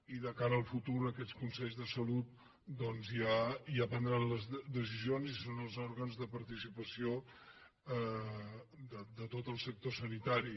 i de cara al futur aquests consells de salut doncs ja prendran les decisions i són els òrgans de participació de tot el sector sanitari